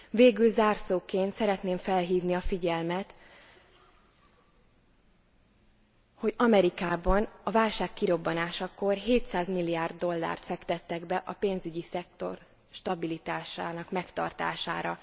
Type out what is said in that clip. Végül zárszóként szeretném felhívni a figyelmet, hogy Amerikában a válság kirobbanásakor 700 milliárd dollárt fektettek be a pénzügyi szektor stabilitásának megtartására.